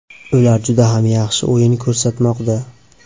Ular juda ham yaxshi o‘yin ko‘rsatmoqda.